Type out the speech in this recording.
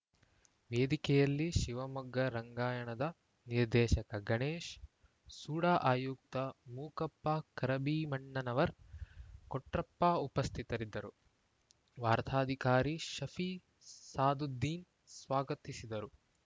ವೇದಿಕೆಯಲ್ಲಿ ಶಿವಮೊಗ್ಗ ರಂಗಾಯಣದ ನಿರ್ದೇಶಕ ಗಣೇಶ್‌ ಸೂಡಾ ಆಯುಕ್ತ ಮೂಕಪ್ಪ ಕರಭೀಮಣ್ಣನವರ್‌ ಕೊಟ್ರಪ್ಪ ಉಪಸ್ಥಿತರಿದ್ದರು ವಾರ್ತಾಧಿಕಾರಿ ಶಫಿ ಸಾದುದ್ದೀನ್‌ ಸ್ವಾಗತಿಸಿದರು